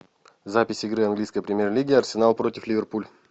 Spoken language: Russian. запись игры английской премьер лиги арсенал против ливерпуль